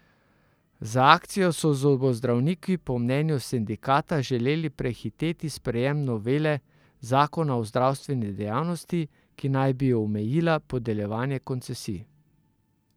Z akcijo so zobozdravniki po mnenju sindikata želeli prehiteti sprejem novele zakona o zdravstveni dejavnosti, ki naj bi omejila podeljevanje koncesij.